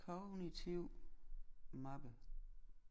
Kognitiv mappe